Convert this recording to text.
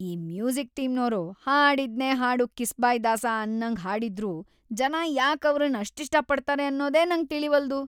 ಆ ಮ್ಯೂಸಿಕ್‌ ಟೀಮ್‌ನೋರು ಹಾಡಿದ್ನೇ ಹಾಡು ಕಿಸ್ಬಾಯ್ ದಾಸ ಅನ್ನಂಗ್‌ ಹಾಡಿದ್ರೂ ಜನ ಯಾಕ್‌ ಅವ್ರನ್‌ ಅಷ್ಟಿಷ್ಟ ಪಡ್ತಾರೆ ಅನ್ನೋದೆ ನಂಗ್‌ ತಿಳಿವಲ್ದು.